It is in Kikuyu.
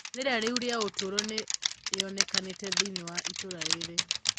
Rĩera rĩũru rĩa ũtũro nĩyonekanĩte thĩinĩ wa itũra rĩrĩ.